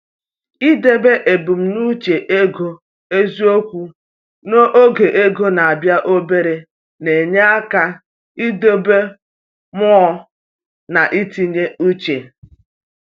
I debe ebumnuche ego eziokwu n’oge ego na-abịa obere na-enye aka idobe mmụọ na ntinye uche.